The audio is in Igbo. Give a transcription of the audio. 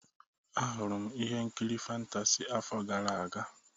A hụrụ m ihe nkiri fantasị afọ gara aga.